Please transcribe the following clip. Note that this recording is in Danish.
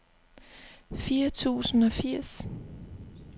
fire tusind og firs